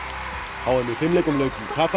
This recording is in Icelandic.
h m í fimleikum lauk í Katar